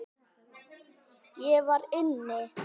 Ég var inni.